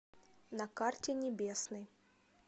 на карте небесный